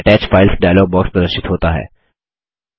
attach files dialog box प्रदर्शित होता है